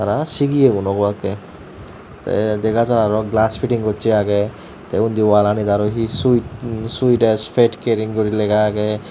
aa sigiyegun obakkey dega jar arw gelas piting gossey agey tey undi oaalanit arw hi suet em suet ades pet kering guri lega agey.